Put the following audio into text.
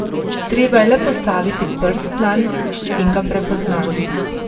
Treba je le postaviti prst nanj in ga prepozna.